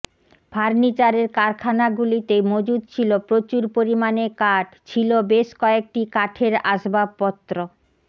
ফার্নিচারের কারখানাগুলিতে মজুত ছিল প্রচুর পরিমানে কাঠ ছিল বেশ কয়েকটি কাঠের আসবাবপত্র